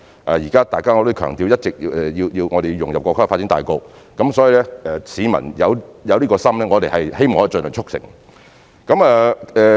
我也一直強調我們要融入國家的發展大局，所以當市民有這心意時，我們也希望可以盡量促成這事。